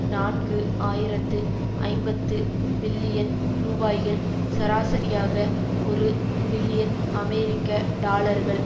நான்கு ஆயிரத்து ஐம்பது பில்லியன் ரூபாய்கள் சராசரியாக ஒரு பில்லியன் அமெரிக்க டாலர்கள்